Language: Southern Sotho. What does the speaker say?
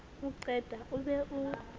o qeta o be o